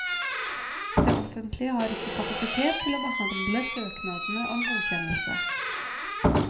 Det offentlige har ikke kapasitet til å behandle søknadene om godkjennelse.